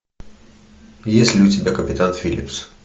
есть ли у тебя капитан филлипс